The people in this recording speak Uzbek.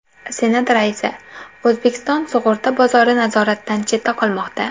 Senat raisi: O‘zbekiston sug‘urta bozori nazoratdan chetda qolmoqda.